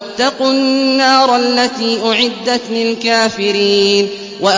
وَاتَّقُوا النَّارَ الَّتِي أُعِدَّتْ لِلْكَافِرِينَ